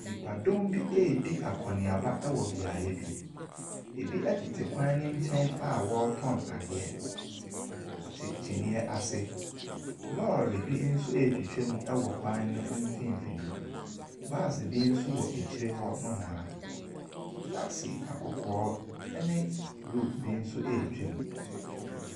Nnipadɔm bi redi akɔneaba wɔ beaeɛ bi. Ebi tete kwan no nkyɛn a wɔretɔn adeɛ. Wɔte kyiniiɛ ase. Lɔre bi nso retwitwam wɔ kwan no mfimfini. Baase bi nso wɔ akyire hɔ nohoa. Taxi akɔkɔɔ ne blue nso retwam.